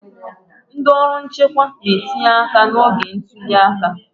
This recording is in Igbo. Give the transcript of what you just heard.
ndị ọrụ nchekwa na-etinye aka n'oge ntuli aka